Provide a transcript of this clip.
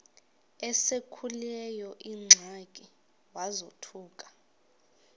esekuleyo ingxaki wazothuka